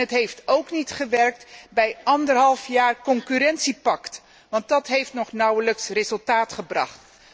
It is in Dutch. Het heeft ook niet gewerkt bij anderhalf jaar concurrentiepact, want dat heeft nog nauwelijks resultaat gebracht.